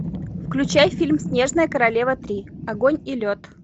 включай фильм снежная королева три огонь и лед